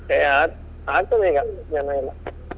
ಏ ಆಗ್~ ಆಗ್ತದೆ ಈಗ ಜನ ಎಲ್ಲ.